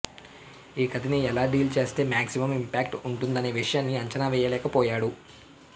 ఈ కథని ఎలా డీల్ చేస్తే మాగ్జిమం ఇంపాక్ట్ వుంటుందనే విషయాన్ని అంచనా వేయలేకపోయాడు